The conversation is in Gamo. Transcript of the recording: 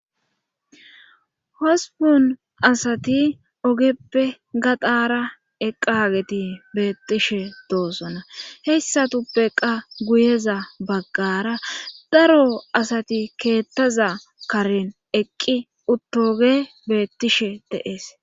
Hosbon asati ogeppe gaxara eqqaageti beettishe doosona hessatuppe qa guyeza baggara daro asati keettaza karen eqqi uttoge beettishe deees.